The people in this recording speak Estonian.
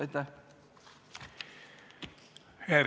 Aitäh!